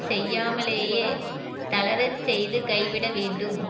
செய்யாமலேயே தளரச் செய்து கைவிட வேண்டும்